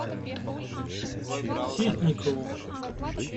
ситникову